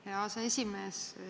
Aitäh, aseesimees!